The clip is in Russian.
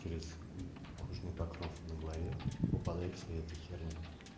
через кожный покров на голове попадает вся эта херня